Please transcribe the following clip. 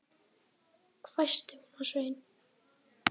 hvæsti hún á Svein